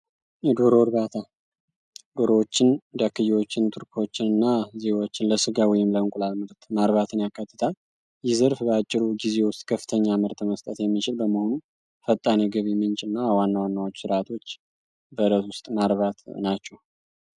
የዶሮ እርባታ ዶሮዎችን ትርኮችና ዜዎችን ለስጋ እርባታ ወይም ለእንቁላል ምርት ማርባትን የካቲታል ዘርፍ በአጭር ጊዜ ውስጥ ከፍተኛ ምርት መስጠት የሚችል በመሆኑ የገቢ ምንጭና ዋና ዋና ስራዎች ናቸው።